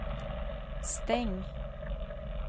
stäng